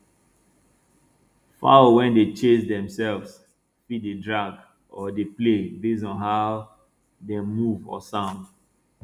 fowl wey dey chase demself fit dey drag or dey play based on how dem move or sound